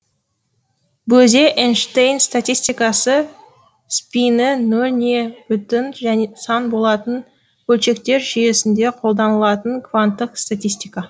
бөзе эйнштейнн статистикасы спині нөл не бүтін сан болатын бөлшектер жүйесінде қолданылатын кванттық статистика